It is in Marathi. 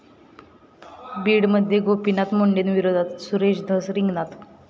बीडमध्ये गोपीनाथ मुंडेंविरोधात सुरेश धस रिंगणात